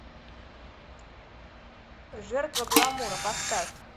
жертва гламура поставь